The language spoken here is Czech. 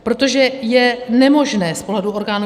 Protože je nemožné z pohledu orgánů